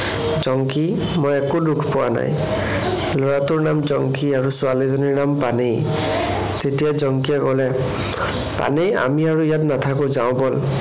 জংকি মই একো দুখ পোৱা নাই। লৰাটোৰ নাম জংকি আৰু ছোৱালীজনীৰ নাম পানেই। তেতিয়া জংকিয়ে কলে, পানেই আমি আৰু ইয়াত নাথাকো, যাওঁ বল।